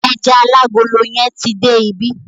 Ẹja alágolo yẹn ti dé ibí.